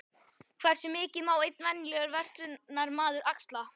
Hversu mikið má einn venjulegur verslunarmaður axla?